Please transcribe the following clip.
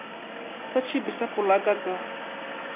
sa tšhipi sa polaka ka